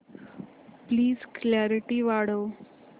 please clarity वाढव